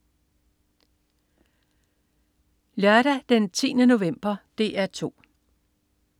Lørdag den 10. november - DR 2: